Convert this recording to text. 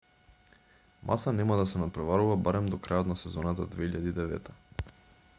маса нема да се натпреварува барем до крајот на сезоната 2009